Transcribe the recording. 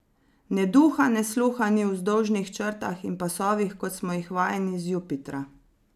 Ne duha ne sluha ni o vzdolžnih črtah in pasovih, kot smo jih vajeni z Jupitra.